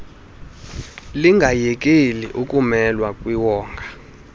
lingayekeli ukumelwa kwiwonga